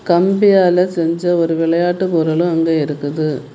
கம்பியால செஞ்ச ஒரு விளையாட்டு பொருளும் அங்க இருக்குது.